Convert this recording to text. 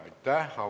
Aitäh!